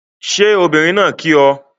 Ṣé obìnrin náà kí ọ?